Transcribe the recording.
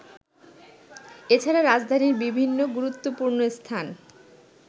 এছাড়া রাজধানীর বিভিন্ন গুরুত্বপূর্ণ স্থান